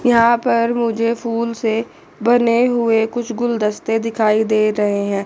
यहां पर मुझे फूल से बने हुए कुछ गुलदस्ते दिखाई दे रहे हैं।